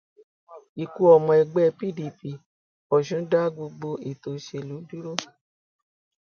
ikú ọmọ ẹgbẹ pdp ọsùn dá gbogbo ètò òṣèlú dúró